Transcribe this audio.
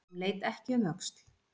Hún leit ekki um öxl.